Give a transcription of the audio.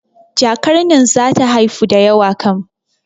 Jakar nan zata haifu da yawa kam